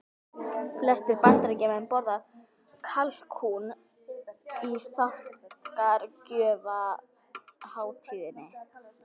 Flestir Bandaríkjamenn borða kalkún á þakkargjörðarhátíðinni.